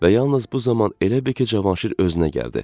Və yalnız bu zaman elə bil ki, Cavanşir özünə gəldi.